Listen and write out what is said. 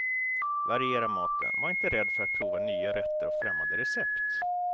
Variera maten, var inte rädd för att prova nya rätter och främmande recept.